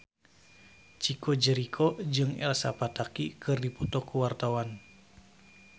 Chico Jericho jeung Elsa Pataky keur dipoto ku wartawan